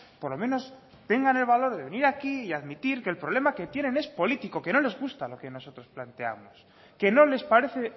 por lo menos tengan el valor de venir aquí y admitir que el problema que tienen es político que no les gusta lo que nosotros planteamos que no les parece